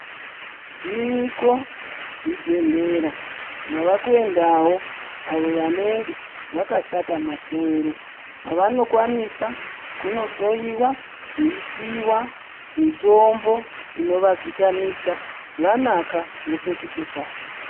Zviriko zvibhedhlera zvavakuendawo avo vanenge zvakashata masoro, kwavanokwanisa kunohloiwa veipiwa mitombo inovadzikamisa, vanaka vopetuke kanyi.